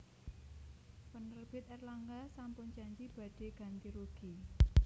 Penerbit Erlangga sampun janji badhe ganti rugi